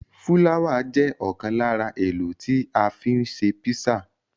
Fúláwà jẹ́ ọ̀kan lára èlò tí a fi ń ṣe písà.